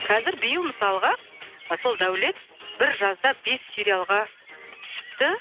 қазір биыл мысалға сол дәулет бір жазда бес сериалға түсіпті